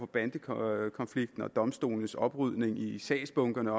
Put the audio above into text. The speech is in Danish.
bandekonflikten og også domstolenes oprydning i sagsbunkerne